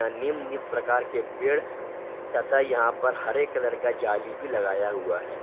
निम्न प्रकार के पेड़ तथा यहां पर हेयर कलर का जाल भी लगाया हुआ है।